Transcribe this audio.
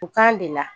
U kan de la